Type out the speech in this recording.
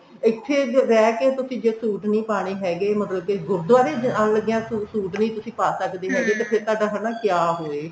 ਇੱਥੇ ਰਹਿ ਕੇ ਤੁਸੀਂ ਜੇ suit ਨਹੀਂ ਪਾਨੇ ਹੈਗੇ ਮਤਲਬ ਕੀ ਗੁਰਦੁਵਾਰੇ ਜਾਨ ਲੱਗਿਆ suit ਨੀ ਤੁਸੀਂ ਪਾ ਸਕਦੇ ਹੈਗੇ ਤੇ ਫੇਰ ਤੁਹਾਡਾ ਹਨਾ ਕਿਆ ਹੋਏ